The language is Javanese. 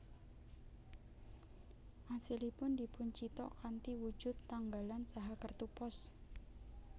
Asilipun dipuncithak kanthi wujud tanggalan saha kertu pos